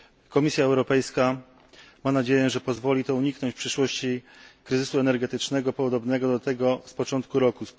Komisja Europejska ma nadzieję, że pozwoli to uniknąć w przyszłości kryzysu energetycznego podobnego do tego z początku roku.